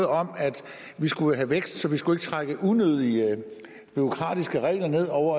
om at vi skulle have vækst så vi skulle ikke trække unødige bureaukratiske regler ned over